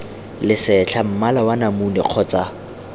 lesetlha mmala wa namune kgotsa